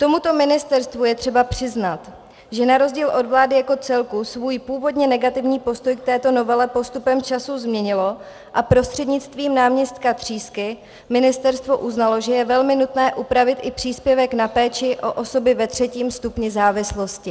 Tomuto ministerstvu je třeba přiznat, že na rozdíl od vlády jako celku svůj původně negativní postoj k této novele postupem času změnilo a prostřednictvím náměstka Třísky ministerstvo uznalo, že je velmi nutné upravit i příspěvek na péči o osoby ve třetím stupni závislosti.